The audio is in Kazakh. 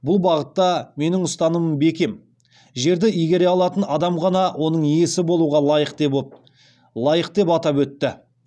бұл бағытта менің ұстанымым бекем жерді игере алатын адам ғана оның иесі болуға лайық деп атап өтті